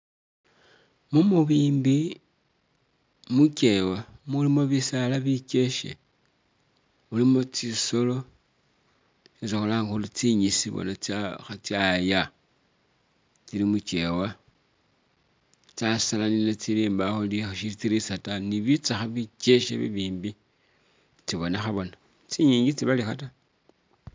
Mu mubimbi mu kyeewa mulimo bisaala bikyekhe mulimo tsisolo isi khulanga khuri tsi ngisi bona tsa kha tsyaya tsili mu kyeewa tsasalanile tsili mbawo shitsirisa ta ni bitsakha bikyekhe bi bimbi tsibonekha bona, tsi nyingi itsi balikha ta.